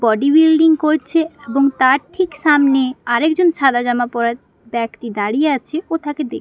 body building করছে এবং তার ঠিক সামনে আর একজন সাদা জামা পরা ব্যক্তি দাঁড়িয়ে আছে ও থাকে দে--